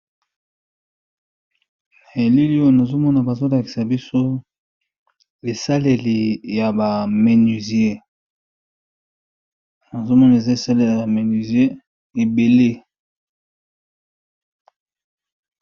Na bilili oyo balakisi ba biloko ba menuisiers basalisaka po na kosala musala na bango.